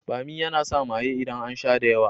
Bommi yana sa maye idan an sha da yawa.